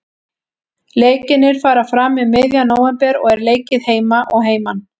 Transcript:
Leikirnir fara fram um miðjan nóvember og er leikið heima og heiman.